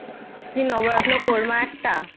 কি নবরত্ন কোর্মা একটা।